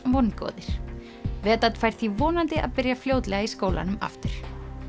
vongóðir fær því vonandi að byrja fljótlega í skólanum aftur